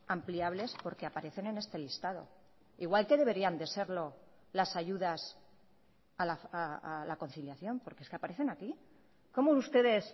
ampliables porque aparecen en este listado igual que deberían de serlo las ayudas a la conciliación porque es que aparecen aquí cómo ustedes